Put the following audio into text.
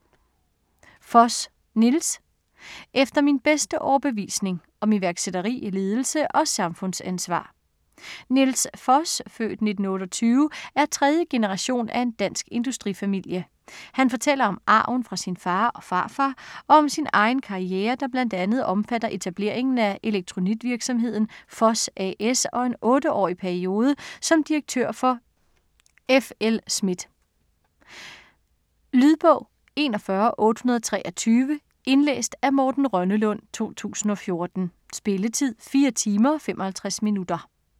Foss, Nils: Efter min bedste overbevisning: om iværksætteri, ledelse og samfundsansvar Nils Foss (f. 1928) er tredje generation af en dansk industrifamilie. Han fortæller om arven fra sin far og farfar og om sin egen karriere, der bl.a. omfatter etableringen af elektronikvirksomheden Foss A/S, og en 8-årig periode som direktør for F. L. Schmidt. Lydbog 41823 Indlæst af Morten Rønnelund , 2014. Spilletid: 4 timer, 55 minutter.